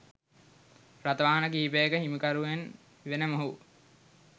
රථ වාහන කිහිපයක හිමිකරුවෙන් වන මොහු